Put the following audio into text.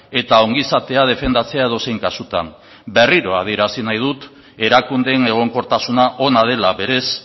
eta ongizatea defendatzea edozein kasutan berriro adierazi nahi dut erakundeen egonkortasuna ona dela berez